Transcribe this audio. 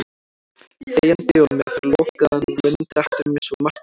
Þegjandi og með lokaðan munn dettur mér svo margt í hug.